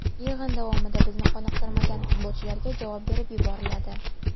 Yig‘in davomida bizni qoniqtirmagan futbolchilarga javob berib yuboriladi.